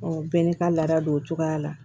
u bɛɛ n'i ka laada don o cogoya la